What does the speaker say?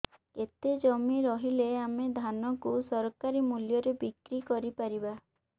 କେତେ ଜମି ରହିଲେ ଆମେ ଧାନ କୁ ସରକାରୀ ମୂଲ୍ଯରେ ବିକ୍ରି କରିପାରିବା